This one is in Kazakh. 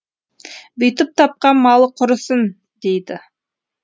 бүйтіп тапқан малы құрысын дейді